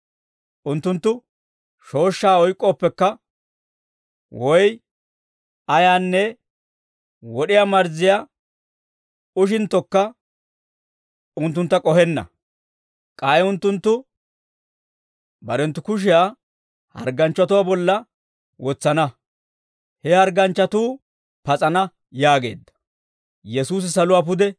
Unttunttu shooshshaa oyk'k'oopekka, woy ayaanne wod'iyaa marzziyaa ushinttokka unttuntta k'ohenna. K'ay unttunttu barenttu kushiyaa hargganchchatuwaa bolla wotsana; he hargganchchatuu pas'ana» yaageedda.